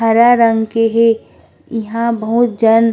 हरा रंग के हे इहाँ बहुत जन--